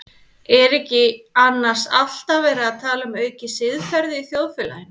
Er ekki annars alltaf verið að tala um aukið siðferði í þjóðfélaginu?